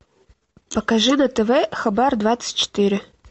покажи на тв хабар двадцать четыре